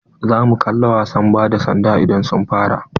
Za mu kalla wasan ba da sanda idan sun fara.